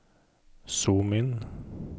zoom inn